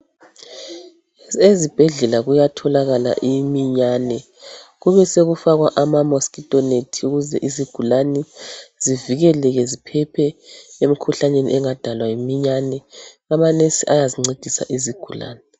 Ezibhedlela kuyathotholakala iminyane kube sekufakwa amamosquito net ukuze izigulani zivikeleke ziphephe emikhuhlaneni engadalwa yiminyane .Amanesi ayazincedisa izigulani